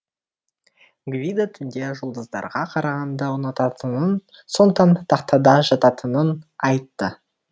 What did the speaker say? гвидо түнде жұлдыздарға қарағанды ұнататынын сондықтан тахтада жататынын айтты